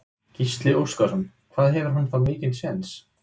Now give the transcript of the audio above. Gísli Óskarsson: Hvað hefur hann þá mikinn séns?